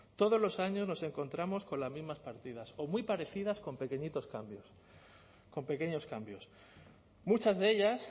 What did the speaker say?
todos los años nos encontramos con las mismas partidas o muy parecidas con pequeñitos cambios con pequeños cambios muchas de ellas